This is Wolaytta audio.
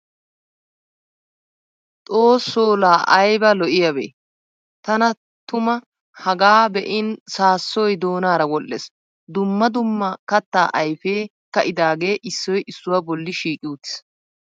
Xoosoo laa ayba loiyabee! Tana tuma hagaa be'in saassoy doonaara wodhdhes. Dumma dumma kattaa ayfee ka'idaagee issoy issuwa bolli shiiqi uttis.